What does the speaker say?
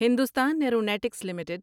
Hindustan aeronautics limited